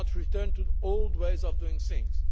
We cannot return to the old ways of doing